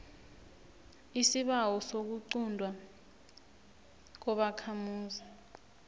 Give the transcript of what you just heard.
isibawo sokuquntwa kobakhamuzi